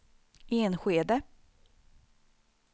Enskede